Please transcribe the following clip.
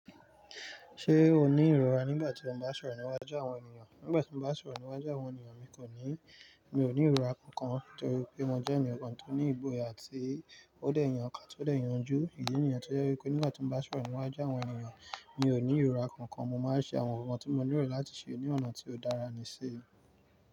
Ṣé o ní ìrora nígbà tí o bá sọ̀rọ̀ níwájú àwọn ènìyàn? Nígbà tí mo bá sọ̀rọ̀ níwájú àwọn ènìyàn, mi kò ní, mi ò ní ìrora kankan nítorí pé mo jẹ́ ènìyàn kan tó ní ìgboya àti ó dé ìyàn kan tó dé ìyànjú. Ìdí nìyen tó jẹ́ wípé nígbà tí mo bá sọ̀rọ̀ níwájú àwọn ènìyàn mi ò ní ìrora kankan. Mo máa ń ṣe àwọn ohun kan tí mo nílò láti ṣe ní ọ̀nà tí ó dára sì í.